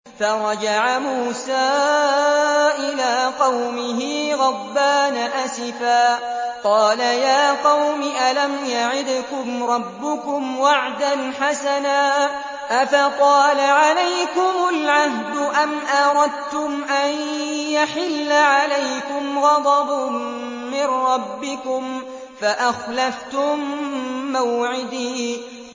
فَرَجَعَ مُوسَىٰ إِلَىٰ قَوْمِهِ غَضْبَانَ أَسِفًا ۚ قَالَ يَا قَوْمِ أَلَمْ يَعِدْكُمْ رَبُّكُمْ وَعْدًا حَسَنًا ۚ أَفَطَالَ عَلَيْكُمُ الْعَهْدُ أَمْ أَرَدتُّمْ أَن يَحِلَّ عَلَيْكُمْ غَضَبٌ مِّن رَّبِّكُمْ فَأَخْلَفْتُم مَّوْعِدِي